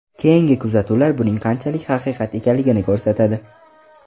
Keyingi kuzatuvlar buning qanchalik haqiqat ekanligini ko‘rsatadi.